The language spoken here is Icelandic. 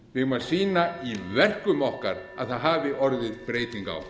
eigum að sýna í verkum okkar að það hafi orðið breyting á